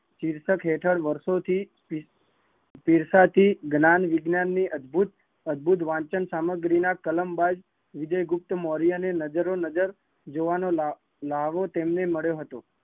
શીર્ષક હેઠળ વર્ષો થી, શીર્ષ થી જ્ઞાનવિજ્ઞાન ની અદભુત વચન ના સામગ્રી ના કલમ બાય વિજયગુપ્તમૌર્ય ને નજરે નજરે જોવાનો લ્હાવો તેમને મળ્યો હતો